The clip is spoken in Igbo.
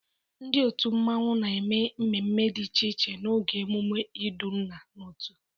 Ndị otu mmanwu na-eme mmemme dị iche iche n'oge emume iduna n'otu.